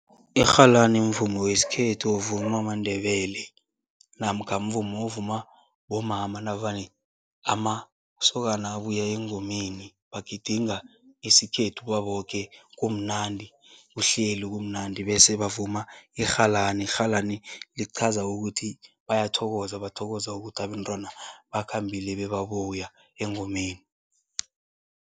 Irhalani mvumo wesikhethu ovumwa maNdebele namkha mvumo ovuma bomama navane amasokana abuya engomeni, bagidinga isikhethu baboke, kumnandi, kuhleli kumnandi bese bavuma irhalani. Irhalani lichaza ukuthi bayathokoza, bathokoza ukuthi abentwana bakhambile bebabuya engomeni.